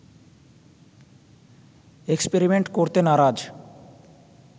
experiment করতে নারাজ